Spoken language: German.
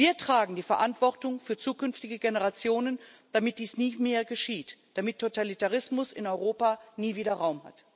Wir tragen die Verantwortung für zukünftige Generationen, damit dies nie mehr geschieht, damit Totalitarismus in Europa nie wieder Raum hat.